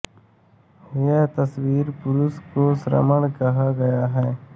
यहाँ तपस्वी पुरुष को श्रमण कहा गया है